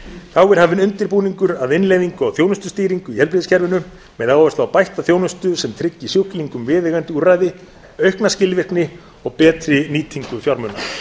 þá er hafinn undirbúningur að innleiðingu á þjónustustýringu í heilbrigðiskerfinu með áherslu á bætta þjónustu sem tryggi sjúklingum viðeigandi úrræði aukna skilvirkni og betri nýtingu fjármuna